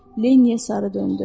Leniyə sarı döndü.